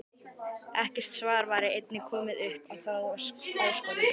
Ekkert svar væri enn komið upp á þá áskorun.